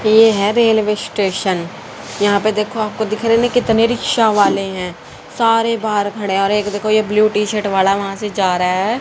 ये है railway station यहां पे देखो आपको दिख रहे ना कितने रिक्शा वाले हैं सारे बाहर खड़े हैं और एक देखो ये ब्ल्यू टी शर्ट वाला वहां से जा रहा है।